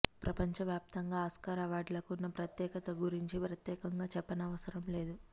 ప్రపంచ వ్యాప్తంగా ఆస్కార్ అవార్డులకు ఉన్న ప్రత్యేకత గురించి ప్రత్యేకంగా చెప్పనవసరం లేదు